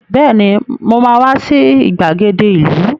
Bẹ́ẹ̀ni, mo ma wá sí ìgbàgede ìlú